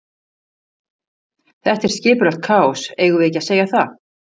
Þetta er skipulagt kaos, eigum við ekki að segja það?